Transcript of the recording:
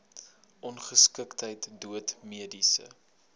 ongeskiktheid dood mediese